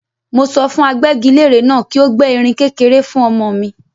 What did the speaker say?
Mo sọ fún agbẹ́gilére náà kí ó gbẹ́ erin kékeré fún ọmọ mi.